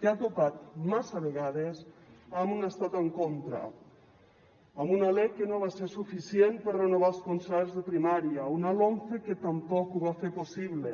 que ha topat massa vegades amb un estat en contra amb una lec que no va ser suficient per renovar els concerts de primària una lomce que tampoc ho va fer possible